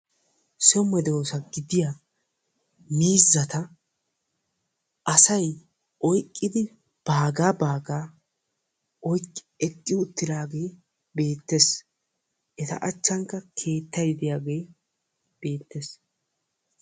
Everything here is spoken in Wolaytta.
So medoosa gidiyaa miizzata asay baga baga oyqqidi oyqqi eqqi uttidaagee beettees; eta achchankka keettay diyaagee beettees.